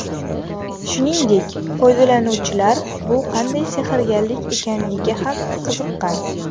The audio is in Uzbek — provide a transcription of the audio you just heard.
Shuningdek, foydalanuvchilar bu qanday sehrgarlik ekanligiga ham qiziqqan .